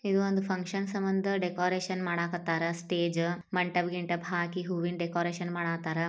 ಇದು ಒಂದು ಫಂಕ್ಷನ್ ಸಮಂದ್ ಡೆಕೋರೇಷನ್ ಮಾಡಾಕತ್ತಾರ್ ಸ್ಟೇಜ. ಮಂಟಪ್ ಗಿಂಟಪ್ ಹಾಕಿ ಹೂವಿನ ಡೆಕೋರೇಷನ್ ಮಾಡಾಕತ್ತಾರ.